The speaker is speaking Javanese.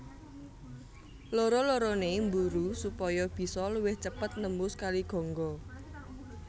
Loro lorone mburu supaya bisa luwih cepet nembus Kali Gangga